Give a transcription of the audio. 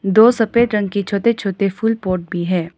दो सफेद रंग की छोटे छोटे फूल पॉट भी है।